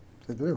Você entendeu?